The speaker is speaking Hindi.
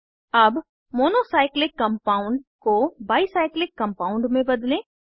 अब मोनो साइक्लिक कम्पाउन्ड को बाई साइक्लिक कम्पाउन्ड में बदलें